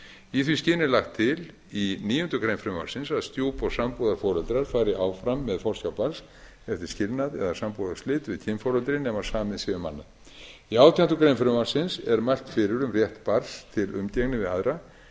í því skyni er lagt til í níundu grein frumvarpsins að stjúp og sambúðarforeldrar fari áfram með forsjá barns eftir skilnað eða sambúðarslit við kynforeldri nema samið sé um annað í átjándu grein frumvarpsins er mælt fyrir um rétt barns til umgengni við aðra en